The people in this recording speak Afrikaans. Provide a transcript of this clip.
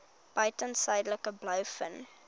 buiten suidelike blouvin